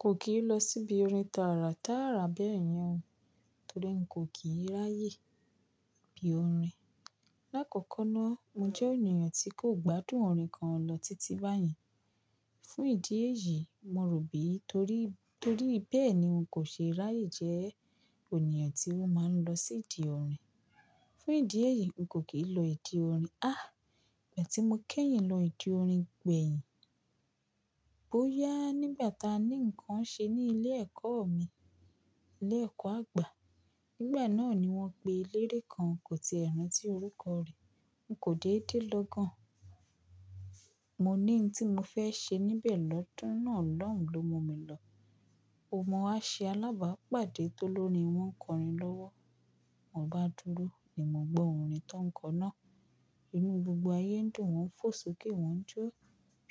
Kò kì í lọ síbi orin tààrà tààrà bẹ́ẹ̀ yẹn o, torí n kò kì í ráyè bí orin. Làkọ́kọ́ náà, mo jẹ́ ènìyàn tí kò gbádùn orin kan lọ títí báyẹn. Fún ìdí èyí, mo rò bí, torí, torí bẹ́ẹ̀ ni n kò ṣe ráyè jẹ́ ènìyàn tí ó máa ń lọ sí ìdí orin. Fún ìdí èyí, n kò kì í lọ ìdí orin. Àh! Ìgbà tí mo kẹ́yìn lọ ìdí orin gbẹ̀yìn, bóyá nígbà ta ní ǹkan ṣe ní ilé ẹ̀kọ́ mi, ilé ẹ̀kọ́ àgbà. Nígbà náà ni wọ́n pe eléré kan, nkò ti ẹ rántí orúkọ rẹ̀. N kò dédé lọ gan. Mo ní n tí mo fẹ́ ṣe níbẹ̀ lọ́dún nà lọ́hùn lo mú mi lọ. Mo wa ṣé alábàápàdé tó lórin wọ́n kọrin lọ́wọ́. Mo bá dúró, ni mo gbọ́ orin tó ń kọ náà. Inú gbogbo ayé ń dùn, wọ́n ń fò sókè, wọ́n ń jó.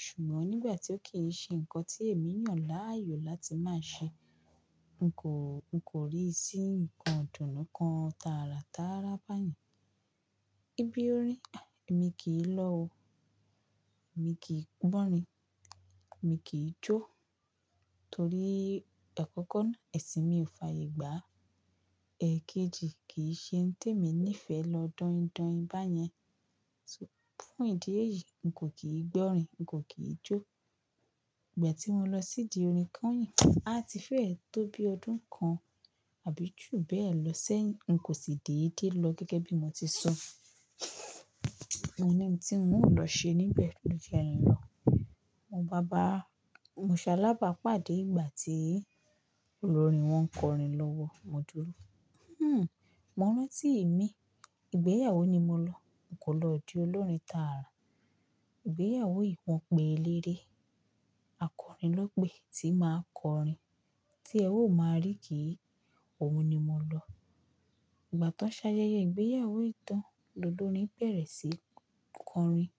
Ṣùgbọ́n nígbà tí ó kì í ṣe ǹkan tí èmií yan láàyò láti máa ṣe, n kò, n kò rí sí ǹkan dùnnú kan tààrà tààrà báyìí. Íbí orin, àh! Èmi kì í lọ o. Èmi kì í gbọ́rin, èmi kì í jó. Torí àkọ́kọ́ náà, ẹ̀sìn mi ò fàyè gbà. Ẹ̀kejì, kì í ṣe ohun tí èmi níí fẹ́ lọ dọ́yindọ́yin báyẹn. Fún ìdí èyí, n kò kì í gbọ́rin, n kò kì í jó. Ìgbà tí mo lọ sí ìdí orin kányìn, àti fẹ́ẹ̀ tó bí ọdún kan àbí ju bẹ́ẹ̀ lọ sẹ́yìn, n kò sì dédé lọ gẹ́gẹ́ bí mo ti sọ. Mo ní ohun tí mòún lọ ṣe níbẹ̀ ló jẹ́ n lọ. Mo ń bá bàá, mo ṣá alábàápàdé ìgbà tí olórin wọ́n kọrin lọ́wọ́, mo dúró. Hmm! Mo rántí ìmi, ìgbéyàwó ni mo lọ, n kò lọ ìdí olórin tààrà. Ìgbéyàwó yìí wọ́n pe eléré, akọrin ló pe, tí máa kọrin, tí ẹ ó máa rí kì í, òun ni mo lọ. Ìgbà tan ṣáyẹyẹ ìgbéyàwó yìí tán, lólórin bẹ̀rẹ̀ sí í kọrin.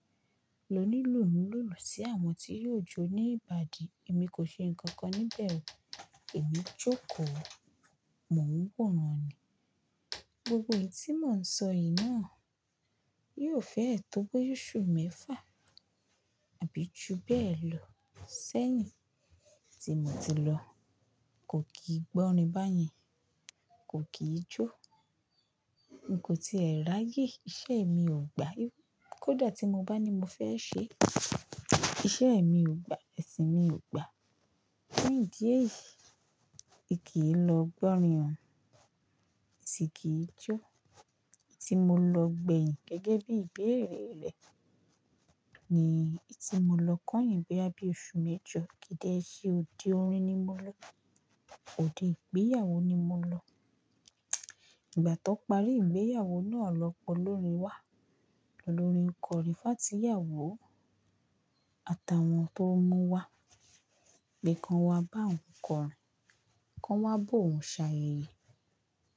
Lóní ìlú ń lulu sí àwọn tí yóò jó ní ìbàdí, èmi kò ṣe nǹkan kan níbẹ̀ o. Emí jókòó, mò ń wòran ni. Gbogbo ètí mò ń sọ yìí náà yóò fẹ́ẹ̀ tó bí oṣù mẹ́fà àbí ju bẹ́ẹ̀ lọ sẹ́yìn tí mo ti lọ. Kò kì í gbọ́rin báyẹn, kò kì í jó. N kò ti è ráyè, iṣẹ́ mi ò gba. Kódà tí mo bá ní mo fẹ́ ṣe, iṣẹ́ mi ò gba, ẹ̀sìn mi ò gba. Fún ìdí èyí, ì kí í lọ gbọ́rin o, i sì kì í jó. Eyi ti mo lọ gbẹ̀yìn gẹ́gẹ́ bí ìbéèrè rẹ̀ ni ètí mo lọ kányìn bóyá bí oṣù mẹ́jọ. Kì í dẹ ṣe òde orin ni mo lọ, òde ìgbéyàwó ni mo lọ. Ìgbà tán parí ìgbéyàwó náà lọ́pọ̀ lórin wá. Lólórin kọrin fáàtí ìyàwó, àtàwọn tó mú wá, pe kan wá bá ń kọrin, kan wá bó ń ṣayẹ̀yẹ̀,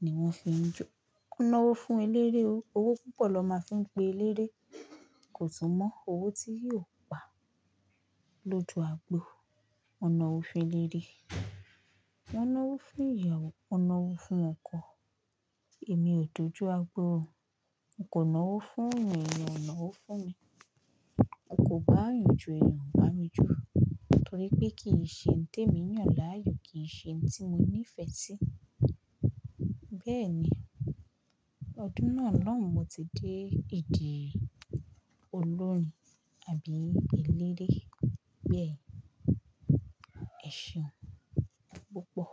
ni wọ́n fi ń jó. Kúnná owó fún eléré o, owó púpọ̀ lọ máa ń fi ń pe eléré. Kò tún mọ́ owó tí yóò pa loju àgbo. O nà owó fún eléré. Wọ́n ná owó fún ìyàwó, wọ́n ná owó fún ọkọ. Èmi ò dójú agbó o, n kò ná owó fún yan, èèyàn ò ná owó fún mi. N kò bá yàn jo èèyàn o bá mi jo torípé kì í ṣe ohun tí èmi yàn láàyò, kì í ṣe ohun tí mo nífẹ́ sí. Bẹ́ẹ̀ ni, ọdún náà lóun mo ti dé ìdí olórin àbí eléré bẹ́ẹ̀. Ẹ̀ ṣeun púpọ̀.